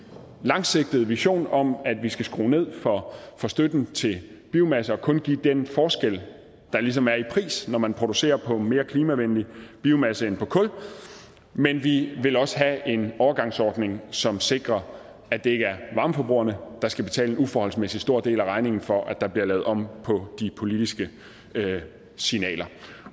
langsigtede vision om at vi skal skrue ned for støtten til biomasse og kun give den forskel der ligesom er i pris når man producerer på mere klimavenlig biomasse end på kul men vi vil også have en overgangsordning som sikrer at det ikke er varmeforbrugerne der skal betale en uforholdsmæssig stor del af regningen for at der bliver lavet om på de politiske signaler